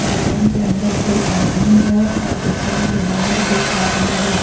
दुकान के अंदर दो आदमी है और दुकान के बाहर दो आदमी है।